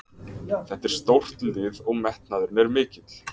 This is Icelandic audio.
Þetta er stórt lið og metnaðurinn er mikill.